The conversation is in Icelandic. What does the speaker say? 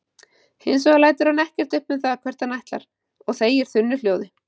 Hins vegar lætur hann ekkert upp um það hvert hann ætlar og þegir þunnu hljóði.